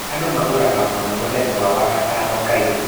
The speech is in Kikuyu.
Andũ magũraga mũno mũthenya wa 'wagatano kairũ'